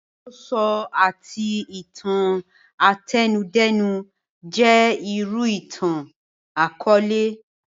Àròsọ àti itan àtẹnudẹ́nu jẹ́ irú ìtàn àkọọlẹ